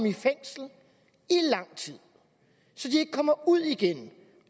i fængsel i lang tid så de ikke kommer ud igen